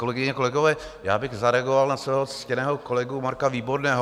Kolegyně, kolegové, já bych zareagoval na svého ctěného kolegu Marka Výborného.